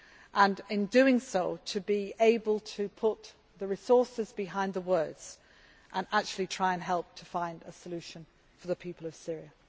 way and, in doing so, to be able to put the resources behind the words and actually try and help find a solution for the people of Syria.